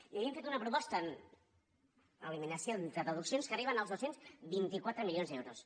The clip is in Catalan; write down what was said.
i li hem fet una proposta eliminacions de deduccions que arriben als dos cents i vint quatre milions d’euros